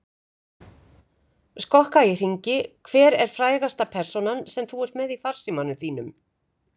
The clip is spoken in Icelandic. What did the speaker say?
Skokka í hringi Hver er frægasta persónan sem þú ert með í farsímanum þínum?